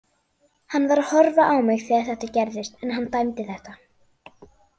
Hann var að horfa á mig þegar þetta gerðist en hann dæmdi þetta.